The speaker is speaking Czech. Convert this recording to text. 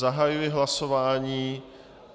Zahajuji hlasování.